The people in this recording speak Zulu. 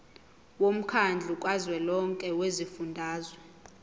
womkhandlu kazwelonke wezifundazwe